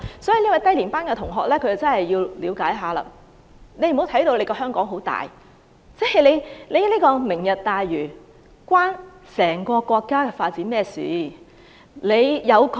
這位低年班同學真的要了解一下，不要把香港看得很大，"明日大嶼"與整個國家的發展有何關係？